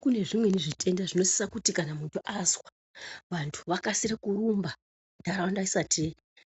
Kune zvimweni zvitenda zvinosise kuti muntu azwa vantu vakasire kurumba ntaraunda isati